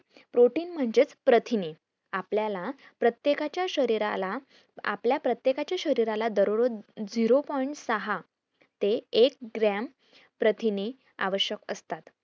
protein म्हणजेच प्रथिने आपल्याला प्रत्येकाच्या शरीराला आपल्या प्रत्येकाच्या शरीराला दरोरोज zero point सहा ते ऐक gram प्रथिने आवश्यक असता